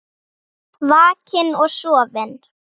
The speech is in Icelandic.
Vakinn og sofinn.